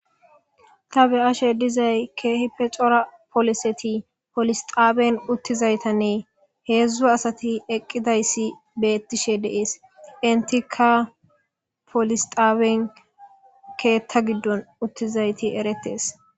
Ta be ashe dizay keehi pe cora poliseti polisxaaween uttizaytanne heedzdzu asati eqqidayssi beettishe deees intika polisxaaween keetta giddon uttizayti eretes.